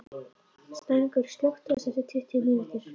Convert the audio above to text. Snæringur, slökktu á þessu eftir tuttugu mínútur.